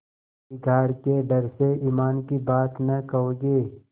बिगाड़ के डर से ईमान की बात न कहोगे